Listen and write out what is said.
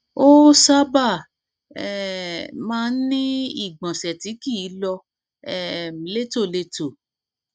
ó sábà um máa ń ní ìgbọnsẹ tí kìí lọ um létòlétò